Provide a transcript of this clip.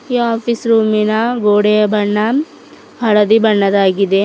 Office ರೂಮಿನ ಗೋಡೆಯ ಬಣ್ಣ ಹಳದಿ ಬಣ್ಣದಾಗಿದೆ.